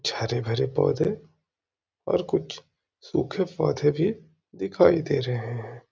कुछ हरे-भरे पौधे और कुछ सूखे पौधे भी दिखाई दे रहे हैं |